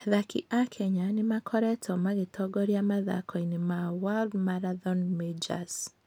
Athaki a Kenya nĩ makoretwo magĩtongoria mathako-inĩ ma World Marathon Majors.